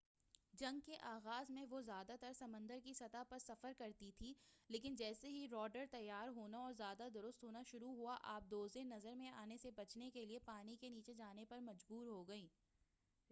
جنگ کے آغاز میں وہ زیادہ تر سمندر کی سطح پر سفر کرتی تھی لیکن جیسے ہی راڈار تیار ہونا اور زیادہ درست ہونا شروع ہوا آبدوزیں نظر میں آنے سے بچنے کے لئے پانی کے نیچے جانے پر مجبور ہوگئیں